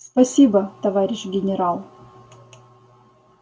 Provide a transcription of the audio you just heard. спасибо товарищ генерал